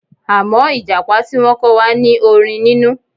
Àmọ́ Ìjàpá tí wọ́n kọ́ wa ní orin nínú